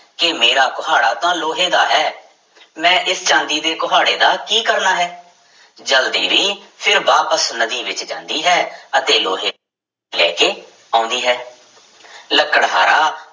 ਕਿ ਮੇਰਾ ਕੁਹਾੜਾ ਤਾਂ ਲੋਹੇ ਦਾ ਹੈ ਮੈਂ ਇਸ ਚਾਂਦੀ ਦੇ ਕੁਹਾੜੇ ਦਾ ਕੀ ਕਰਨਾ ਹੈ, ਜਲ ਦੇਵੀ ਫਿਰ ਵਾਪਿਸ ਨਦੀ ਵਿੱਚ ਜਾਂਦੀ ਹੈ ਅਤੇ ਲੋਹੇ ਲੈ ਕੇ ਆਉਂਦੀ ਹੈ ਲੱਕੜਹਾਰਾ